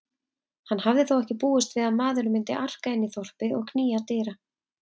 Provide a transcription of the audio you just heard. Hann hafði þó ekki búist við maðurinn myndi arka inn í þorpið og knýja dyra.